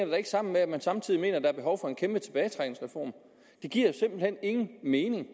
da ikke sammen med at man samtidig mener at der er behov for en kæmpe tilbagetrækningsreform det giver jo simpelt hen ingen mening